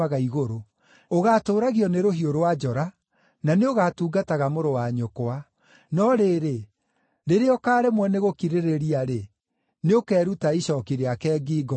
Ũgaatũũragio nĩ rũhiũ rwa njora na nĩũgatungataga mũrũ wa nyũkwa. No rĩrĩ, rĩrĩa ũkaaremwo nĩgũkirĩrĩria-rĩ, nĩũkeruta icooki rĩake ngingo, ũrĩte.”